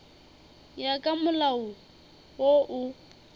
ya ka molao wo o